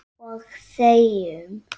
Og þegjum.